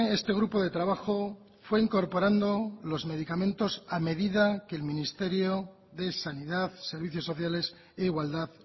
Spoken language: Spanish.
este grupo de trabajo fue incorporando los medicamentos a medida que el ministerio de sanidad servicios sociales e igualdad